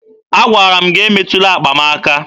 Agwara m gị emetụla akpa m aka!